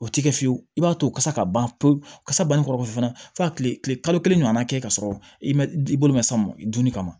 O ti kɛ fiyewu i b'a to kasa ka ban pewu kasa banni kɔrɔ fana fo ka kile kalo kelen ɲɔgɔn na kɛ ka sɔrɔ i ma i bolo ma s'a ma dumuni kama